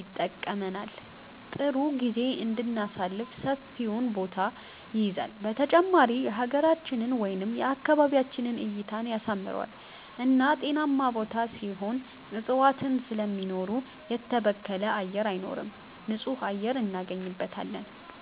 ይጠቅመናል ጥሩ ጊዜም እንድናሳልፍ ሰፊውን ቦታ ይይዛል በተጨማሪም የሀገራችንን ወይም የአካባቢያችንን እይታን ያሳምረዋል እና ጤናማ ቦታ ሲሆን እፅዋትን ስለሚኖሩ የተበከለ አየር አይኖርም ንፁህ አየር እናገኝበታለን